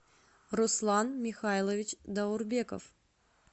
руслан михайлович даурбеков